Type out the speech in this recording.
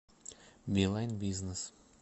билайн бизнес